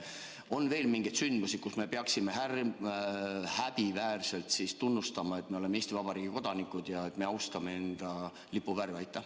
Kas on veel mingeid olukordi, kus me peaksime häbiväärselt tunnistama, et oleme Eesti Vabariigi kodanikud ja austame enda lipuvärve?